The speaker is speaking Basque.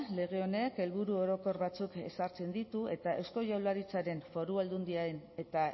lege honek helburu orokor batzuk ezartzen ditu eta eusko jaurlaritzaren foru aldundien eta